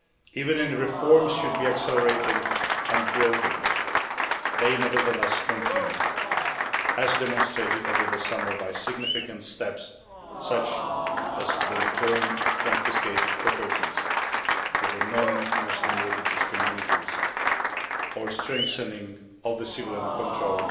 Even though reforms should be accelerated and broadened, they nevertheless continue, as demonstrated over the summer by significant steps such as the return of confiscated property to the non Muslim religious communities or strengthening of civilian